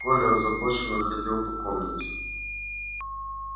коля озабоченно ходил по комнате